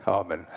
Aamen!